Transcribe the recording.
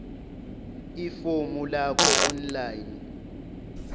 ifomu lakho online